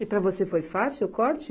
E para você foi fácil o corte?